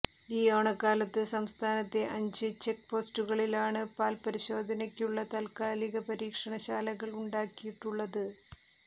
ഈ ഓണക്കാലത്ത് സംസ്ഥാനത്തെ അഞ്ച് ചെക്പോസ്റ്റുകളിലാണ് പാൽപരിശോധനയ്ക്കുള്ള താത്കാലിക പരീക്ഷണശാലകൾ ഉണ്ടാക്കിയിട്ടുള്ളത്